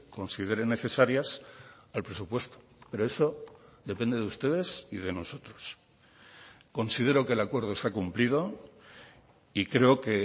consideren necesarias al presupuesto pero eso depende de ustedes y de nosotros considero que el acuerdo se ha cumplido y creo que